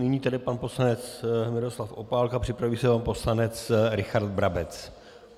Nyní tedy pan poslanec Miroslav Opálka, připraví se pan poslanec Richard Brabec.